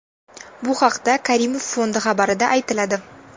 Bu haqda Karimov Fondi xabarida aytiladi .